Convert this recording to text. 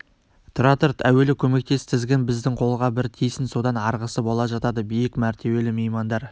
тұра тұр әуелі көмектес тізгін біздің қолға бір тисін содан арғысы бола жатады биік мәртебелі меймандар